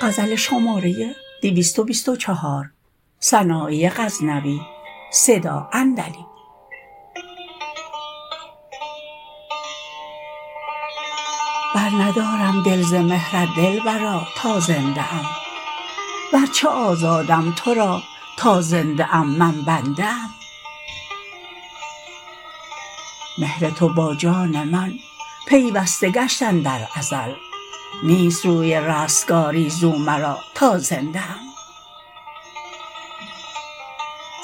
برندارم دل ز مهرت دلبرا تا زنده ام ور چه آزادم تو را تا زنده ام من بنده ام مهر تو با جان من پیوسته گشت اندر ازل نیست روی رستگاری زو مرا تا زنده ام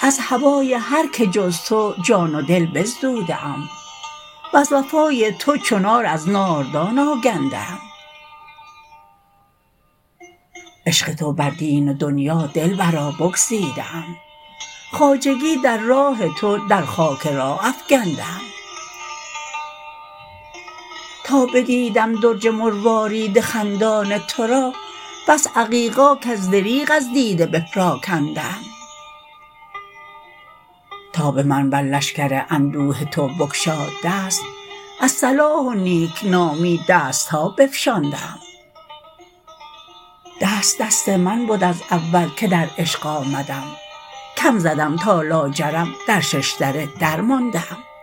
از هوای هر که جز تو جان و دل بزدوده ام وز وفای تو چو نار از ناردان آگنده ام عشق تو بر دین و دنیا دلبرا بگزیده ام خواجگی در راه تو در خاک راه افگنده ام تا بدیدم درج مروارید خندان تو را بس عقیقا کز دریغ از دیده بپراکنده ام تا به من بر لشگر اندوه تو بگشاد دست از صلاح و نیکنامی دست ها بفشانده ام دست دست من بد از اول که در عشق آمدم کم زدم تا لاجرم در شش دره درمانده ام